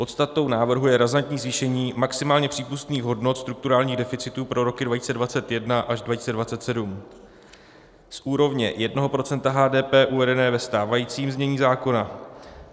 Podstatou návrhu je razantní zvýšení maximálně přípustných hodnot strukturálních deficitů pro roky 2021 až 2027 z úrovně 1 % HDP uvedené ve stávajícím znění zákona.